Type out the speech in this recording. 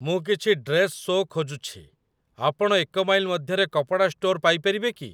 ମୁଁ କିଛି dress shoes' ଖୋଜୁଛି, ଆପଣ ଏକ ମାଇଲ୍ ମଧ୍ୟରେ କପଡ଼ା ଷ୍ଟୋର୍ ପାଇପାରିବେ କି ?